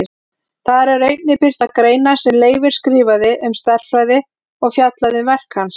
Þar eru einnig birtar greinar sem Leifur skrifaði um stærðfræði og fjallað um verk hans.